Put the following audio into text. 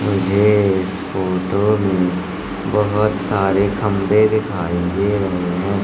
मुझे इस फोटो में बहोत सारे खंबे दिखाई दे रहे हैं।